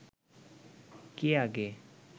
কে আগে